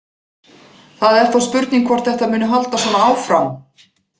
Það er þó spurning hvort þetta muni halda svona áfram.